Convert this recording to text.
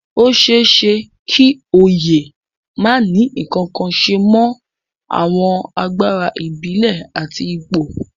Ó ṣeé ṣe kí oyè má ní ǹkankan ṣe mọ àwọn agbára ìbílẹ̀ àti ipò